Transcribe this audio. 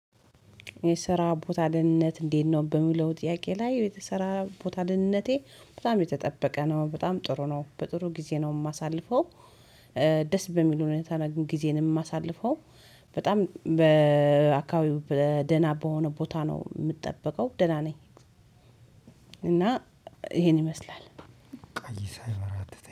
የስራ ቦታ ድህነት እንዴት ነው በሚለው ጥያቄ ላይ የስራ ቦታ ድህነቴ በጣም የተጠበቀ ነው፤ በጣም ጥሩ ነው፤ በጥሩ ጊዜ ነው የማሳልፈው። እ ደስ በሚል ሁኔታ ጊዜን የማሳልፈው። በጣም በእ- አካባቢው በእ-ደህና በሆነ ቦታ ነው የምጠበቀው ደህና ነኝ። እና ይሄን ይመስላል። ቆይተ ና